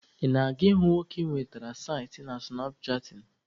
Ị na-aga ịhụ nwoke ị nwetara site na sụnapchaatịn?